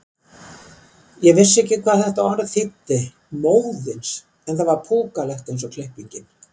Ég vissi ekki hvað þetta orð þýddi, móðins, en það var púkalegt eins og klippingin.